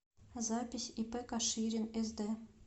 запись ип каширин сд